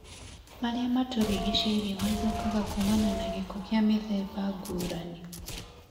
marĩa matũrigicĩirie mathũkaga kuumana na gĩko kĩa mĩthemba ngũrani